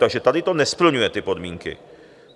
Takže tady to nesplňuje ty podmínky.